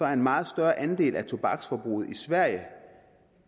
er en meget større andel af tobaksforbruget i sverige